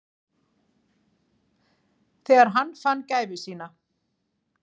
Þegar hann fann gæfu sína.